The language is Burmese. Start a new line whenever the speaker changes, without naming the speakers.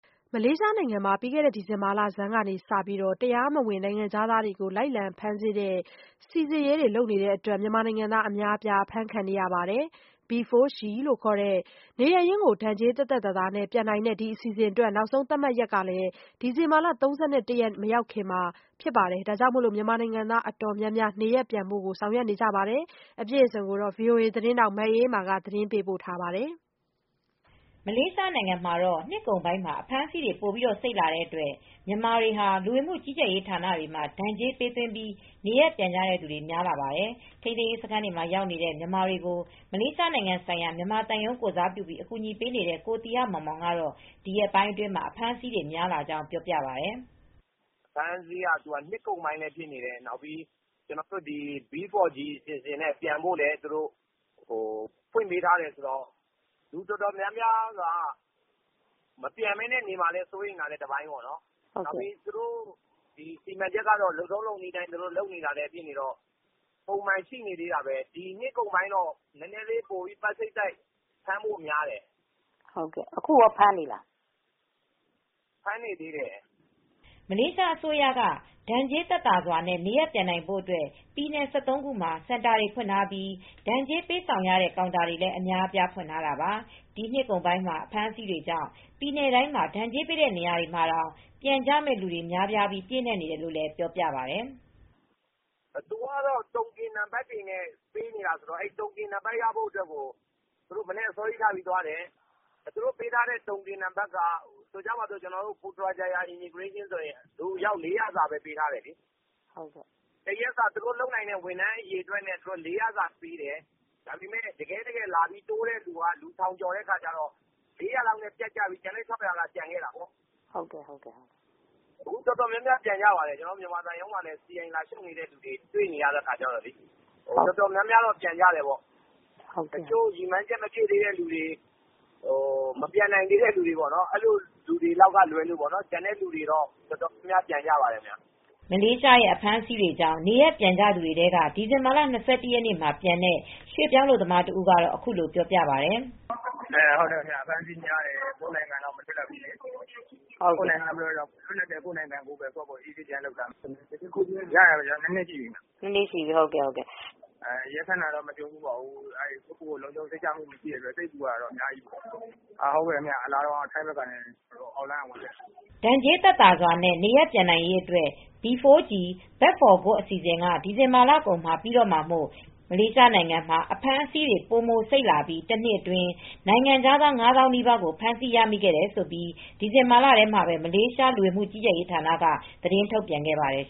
မလေးရှားနိုင်ငံမှာ ဒီဇင်ဘာလဆန်းကစပြီး တရားမဝင် နိုင်ငံခြားသားတွေကို လိုက်လံဖမ်းဆီးတဲ့ စစ်ဆင်ရေး လုပ်ခဲ့တဲ့အတွက် မြန်မာနိုင်ငံသား အများအပြား အဖမ်းခံခဲ့ရပါတယ်။ B4G (Back For Good) လို့ခေါ်တဲ့ နေရပ်ရင်းကို ဒဏ်ကြေးသက်သက်သာသာနဲ့ ပြန်နိုင်တဲ့ အစီအစဉ်အတွက် နောက်ဆုံး သတ်မှတ်ရက် ဒီဇင်ဘာ ၃၁ ရက် မရောက်ခင် မြန်မာအတော်များများဟာ နေရပ်ပြန်ဖို့အတွက် လုပ်နေကြတယ်လို့ ဆိုပါတယ်။ အပြည့်အစုံကို ဗွီအိုအေ မြန်မာပိုင်း သတင်းထောက် မအေးအေးမာ သတင်းပေးပို့ထားပါတယ်။ မလေးရှားနိုင်ငံမှာ နှစ်ကုန်ပိုင်းမှာ အဖမ်းဆီးတွေ ပိုပြီးစိတ်လာတဲ့အတွက် မြန်မာတွေဟာ လူဝင်မှုကြီးကြပ်ရေးဌာနတွေမှာ ဒဏ်ကြေးပေးသွင်းပြီး နေရပ်ပြန်ကြသူတွေ များလာပါတယ်။ ထိန်းသိမ်းရေးစခန်းတွေမှာ ရောက်နေတဲ့ မြန်မာတွေကို မလေးရှားနိုင်ငံဆိုင်ရာ မြန်မာသံရုံး ကိုယ်စားပြုပြီး အကူအညီပေးနေတဲ့ ကိုသီဟမောင်မောင်ကတော့ ဒီရက်ပိုင်းတွေမှာ အဖမ်းအဆီးတွေ များလာကြောင်း ပြောပါတယ်။
“အဖမ်းအဆီးက နှစ်ကုန်ပိုင်းလည်း ဖြစ်နေတယ်။ နောက်ပြီး B4G အစီအစဉ်နဲ့ ပြန်ဖို့လည်း ဖွင့်ထားတော့ လူအတော်များများ မပြန်ဘဲနေမှာ စိုးရိမ်တာလည်း တပိုင်း၊ စီမံချက်က နှစ်ကုန်ပိုင်းအတွင်း လုပ်နေတာပဲ၊ နှစ်ကုန်ပိုင်းတော့ ပိုပြီး ဖမ်းဖို့များတယ်
၊ အခုလည်း ဖမ
်းနေသေးတာပဲ။
” မလေးရှားအစိုးရက ဒဏ်ကြေးသက်သာစွာနဲ့ နေရပ်ပြန်နိုင်ဖို့အတွက် ပြည်နယ် ၁၃ ခုမှာ စင်တာတွေ ဖွင့်ထားပြီး ဒဏ်ကြေးပေးဆောင်ရတဲ့ ကောင်တာတွေလည်း အများအပြား ဖွင့်ထားတာပါ။ ဒီနှစ်ကုန်ပိုင်း အဖမ်းအဆီးကြောင့် ပြည်နယ်တိုင်းမှာ ဒဏ်ကြေးပေးတဲ့ နေရာမှာတောင် ပြန်ကြမယ့်လူတွေ များပြားပြီး ပြည့်နှက်နေတယ်လို့လည်း ပြောပြပါတယ်။
“သူကတော့ တုံကင်နံပါတ်နဲ့ ပေးနေတာပဲ။ တုံကင်နံပါတ်ရဖို့ သူတို့ အစောကြီးသွားတယ်။ ဆိုပါစို့ တုံကင်လုပ်တဲ့ ပိုထရာဂျာရား လဝကဆိုရင် လူအယောက် ၄၀၀ စာပဲ ပေးထားတာလေ။ သူတို့ဝန်ထမ်း အရေအတွက်နဲ့ ကိုက်ပြီး လူ ၄၀၀ စာပဲပေးတယ်။ ဒါပမေယ့် တကယ့်တကယ် လာပြီး တိုးတဲ့လူက ထောင်ကျော်တဲ့အခါကျတော့ ၄၀၀ လောက်နဲ့ပြတ်ပြီး ကျန်တဲ့ ၆၀၀ လောက်က ကျန်ခဲ့တာပေါ့
။ အ
ခု တော်တော်များများ ပြန်ကြပါတယ်။ ကျနော်တို့ သံရုံးမှာလည်း စီအိုင် လာလျှောက်တဲ့သူတွေ ရှိတယ်။ သူတို့ရည်မှန်းချက် မပြည့်သေးတဲ့ သူတွေကလွဲရင် တော်တော်များများ ပြန်ကြပါတယ်။
” မလေးရှား အဖမ်းအဆီးတွေကြောင့် နေရပ်ပြန်ကြသူတွေထဲက ဒီဇင်ဘာလ ၂၁ ရက်နေ့မှာ ပြန်တဲ့ ရွှေ့ပြောင်းအလုပ်သမား တဦးကတော့ အခုလိုပြောပြပါတယ်။ “အ
ဖမ်းအဆီးတွေများတယ်။ ကိုယ့်နိုင်ငံလောက် မလွတ်လပ်ဘူးလေ။ ဒီတော့ လွတ်လပ်တဲ့ ကိုယ့်နိုင်ငံမှာပဲ ပြန်လုပ်စားတော့မယ်။ ရောက်တာတော့ ၂ နှစ်ရှ
ိပြီ။ ရဲဖ
မ်းတာတော့ မကြုံဖူးပါဘူး။ ဒါပေမယ့် ကိုယ့်ဘာသာ လုံခြုံမှုမရှိတာတွေ အများကြီး ကြုံခဲ့ရတာပေါ့။ လာတုန်းကတော့ ထိုင်း-မလေးနယ်စပ်က အောက်လမ်းကလာတာပ
ါ။” ဒဏ်ကြေးသက်သာစွာနဲ့ နေရပ်ပြန်နိုင်ရေးအတွက် B4G (Back For Good)အစီအစဉ်က ဒီဇင်ဘာလကုန်မှာ ပြီးတော့မှာမို့ မလေးရှားနိုင်ငံမှာ အဖမ်းအဆီး ပိုမိုစိတ်လာပြီး တနှစ်အတွင်း နိုင်ငံခြားသား ၅ သောင်းနီးပါးကို ဖမ်းဆီးရမိခဲ့တယ်လို့ ဒီဇင်ဘာလထဲမှာပဲ မလေးရှား လူဝင်မှုကြီးကြပ်ရေးဌာနက သတင်းထုတ်ပြန်ခဲ့ပါတယ်